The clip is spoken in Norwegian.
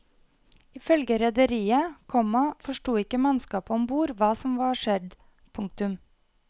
Ifølge rederiet, komma forsto ikke mannskapet om bord hva som var skjedd. punktum